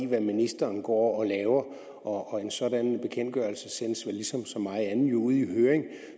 hvad ministeren går og laver og en sådan bekendtgørelse sendes vel ligesom så meget andet ud i høring